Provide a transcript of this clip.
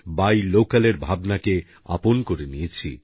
by local এর ভাবনাকে আপন করে নিয়েছি